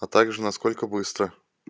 а также насколько быстро